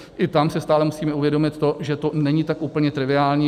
I tam si stále musíme uvědomit to, že to není tak úplně triviální.